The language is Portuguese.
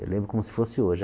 Eu lembro como se fosse hoje.